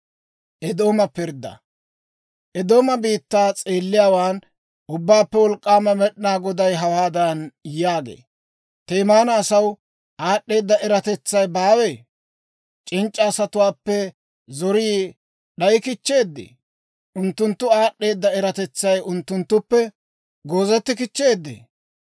Eedooma biittaa s'eelliyaawaan Ubbaappe Wolk'k'aama Med'inaa Goday hawaadan yaagee; «Temaana asaw aad'd'eeda eratetsay baawee? C'inc'c'a asatuwaappe zorii d'ayi kichcheeddee? Unttunttu aad'd'eeda eratetsay unttunttuppe goozeti kichcheeddee?